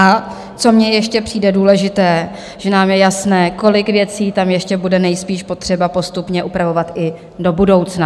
A co mně ještě přijde důležité, že nám je jasné, kolik věcí tam ještě bude nejspíš potřeba postupně upravovat i do budoucna.